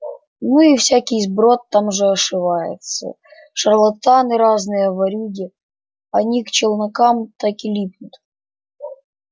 ну и всякий сброд там же ошивается шарлатаны разные ворюги они к челнокам так и липнут